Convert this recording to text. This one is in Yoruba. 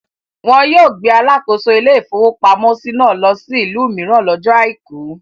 Wọn yóò gbé alakoso ilé-ìfowópamọ́sí náà lọ sí ìlú mìíràn lọ́jọ́ àìkú.